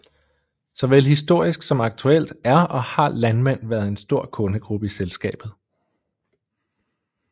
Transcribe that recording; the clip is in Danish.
Såvel historisk som aktuelt er og har landmænd været en stor kundegruppe i selskabet